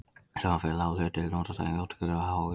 Saman fer lág hlutdeild notenda í útgjöldum og há útgjöld.